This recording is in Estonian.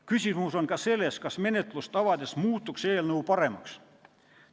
Küsimus on ka selles, kas menetlust avades muutuks seadus paremaks.